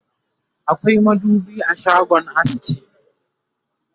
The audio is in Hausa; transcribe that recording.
akwai madubi a shagon aski